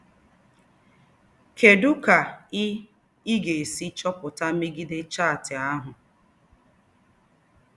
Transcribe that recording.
Kedụ ka ị ị ga-esi chọpụta megide chaatị ahụ?